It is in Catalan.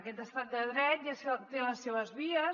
aquest estat de dret ja té les seves vies